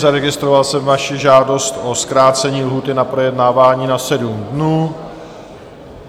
Zaregistroval jsem vaši žádost o zkrácení lhůty na projednávání na 7 dnů.